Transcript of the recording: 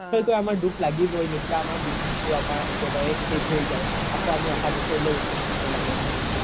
সেইটো আমাৰ দুখ লাগিবৈ যেতিয়া আমাৰ বিহুতো একেবাৰে শেষ হৈ যাই আকৌ আমি আহা বছৰ লই ৰখি থাকিব লাগে বিহুতো